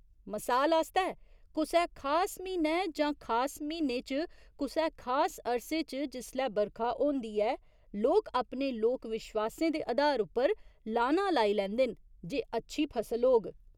मसाल आस्तै, कुसै खास म्हीनै जां खास म्हीने च कुसै खास अरसे च जिसलै बरखा होंदी ऐ, लोक अपने लोक विश्वासें दे अधार उप्पर लाना लाई लैंदे न जे अच्छी फसल होग।